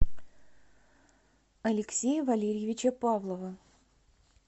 алексея валериевича павлова